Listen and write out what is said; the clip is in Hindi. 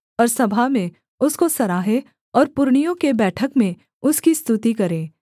और सभा में उसको सराहें और पुरनियों के बैठक में उसकी स्तुति करें